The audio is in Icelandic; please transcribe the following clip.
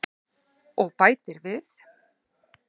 Og bætir við: